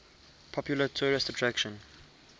popular tourist attraction